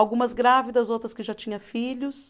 Algumas grávidas, outras que já tinha filhos.